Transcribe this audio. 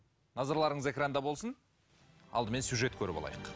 назарларыңыз экранда болсын алдымен сюжет көріп алайық